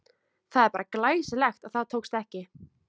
Það er bara glæsilegt að það tókst ekki!